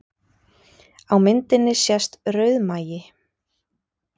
Á myndinni sést rauðmagi